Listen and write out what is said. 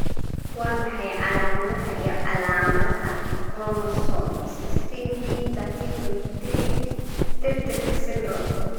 Waa maxay calaamadaha iyo calaamadaha Chromosome 16p13.3 tirtirka syndrome?